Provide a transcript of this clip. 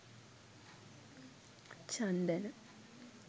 chandana